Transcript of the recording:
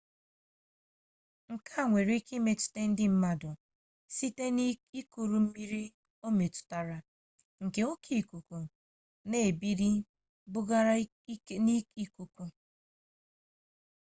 nke a nwere ike imetụta ndị mmadụ site n'ikuru mmiri o metụtara nke oke ikuku na ebili bugara n'ikuku